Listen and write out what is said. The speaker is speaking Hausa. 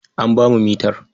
An ba mu mitar.